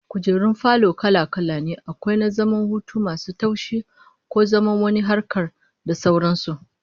Kujerun falo kala-kala ne, akwai na zaman hutu masu taushi, ko na zaman wani harkar, da sauran su